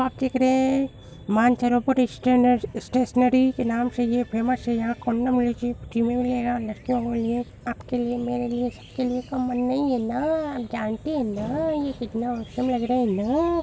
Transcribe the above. आप देख रहे हैं मानसरोवर स्टेनर स्टेशनरी के नाम से ये फेमस हैयहाँ में यहाँ लटके हुए हैं आपके लिए मेरे लिए सबके लिए कॉमन नहीं हैं न जानते हैं ना ये कितना ऑसम लग रहा है ना |